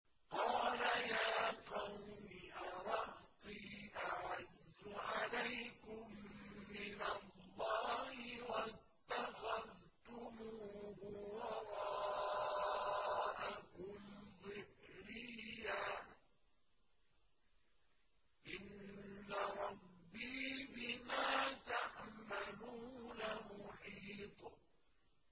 قَالَ يَا قَوْمِ أَرَهْطِي أَعَزُّ عَلَيْكُم مِّنَ اللَّهِ وَاتَّخَذْتُمُوهُ وَرَاءَكُمْ ظِهْرِيًّا ۖ إِنَّ رَبِّي بِمَا تَعْمَلُونَ مُحِيطٌ